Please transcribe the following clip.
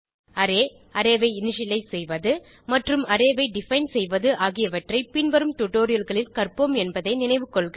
array array ஐ initialize செய்வது மற்றும் ஒரு அரே ஐ டிஃபைன் செய்வது ஆகியவற்றை பின்வரும் டுடோரியல்களில் கற்போம் என்பதை நினைவு கொள்க